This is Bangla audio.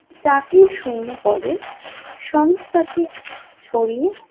চাকরির শূন্যপদে সংস্থাকে ছড়িয়ে